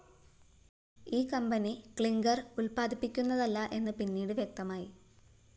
ഈ company clinker‍ ഉത്പാദിപ്പിക്കുന്നതല്ല എന്ന് പിന്നീട് വ്യക്തമായി